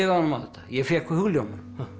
á þetta ég fékk hugljómun